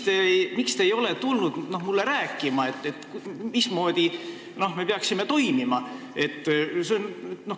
Ja miks te ei ole tulnud mulle rääkima, mismoodi me peaksime toimima?